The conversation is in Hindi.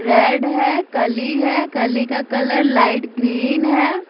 रेड है कली है कली का कलर लाइट ग्रीन है ।